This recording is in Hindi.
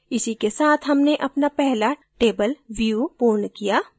इसी के साथ हमने अपना पहला table view पूर्ण किया